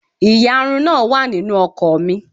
Ìyarun náà wà nínú ọkọ̀ mi.